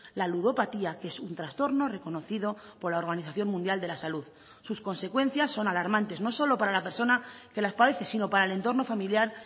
la ludopatía que es un trastorno reconocido por la organización mundial de la salud sus consecuencias son alarmantes no solo para la persona que las padece sino para el entorno familiar